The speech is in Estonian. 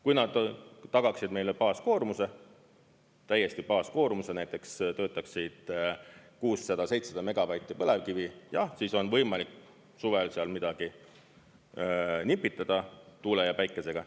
Kui nad tagaksid meile baaskoormuse, täiesti baaskoormuse, näiteks töötaksid 600–700 megavatti põlevkivi: jah, siis on võimalik suvel seal midagi nipitada tuule ja päikesega.